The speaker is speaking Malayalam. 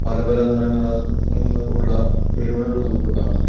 പല പല നിറങ്ങളാൽ മ്മ് ഉള്ള ബലൂണുകൾ നമുക്ക് കാണാം.